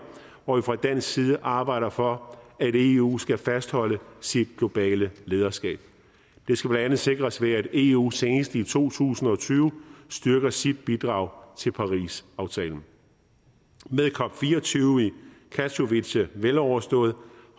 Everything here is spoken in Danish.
hvor vi fra dansk side arbejder for at eu skal fastholde sit globale lederskab det skal blandt andet sikres ved at eu senest i to tusind og tyve styrker sit bidrag til parisaftalen med cop24 i katowice veloverstået